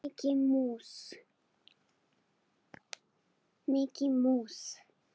Mikki mús.